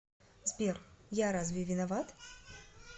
сбер я разве виноват